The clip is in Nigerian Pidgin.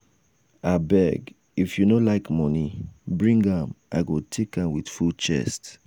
abeg if you no like money bring am i go take am with full chest.